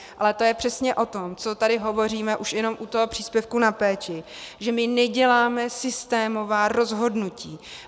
Ale to je přesně o tom, co tady hovoříme už jenom u toho příspěvku na péči, že my neděláme systémová rozhodnutí.